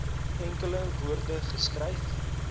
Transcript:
enkele woorde geskryf